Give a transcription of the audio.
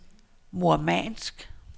Murmansk